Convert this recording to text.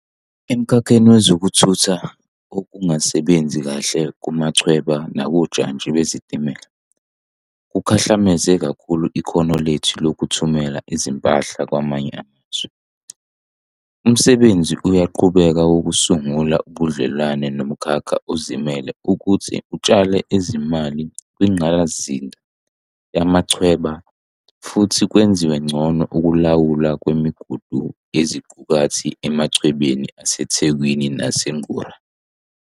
Emkhakheni wezokuthutha, ukungasebenzi kahle kumachweba nakojantshi bezitimela kukhahlameze kakhulu ikhono lethu lokuthumela impahla kwamanye amazwe. Umsebenzi uyaqhubeka wokusungula ubudlelwano nomkhakha ozimele ukuthi utshale izimali kwingqalasizinda yamachweba futhi kwenziwe ngcono ukulawulwa kwemigudu yeziqukathi emachwebeni aseThekwini naseNgqura.